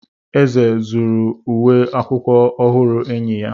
Eze zuru uwe akwụkwọ ọhụrụ enyi ya.